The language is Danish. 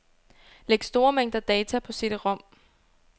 Læg store mængder data på cd-rom.